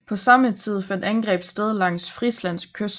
På samme tid fandt angreb sted langs Frisland kyst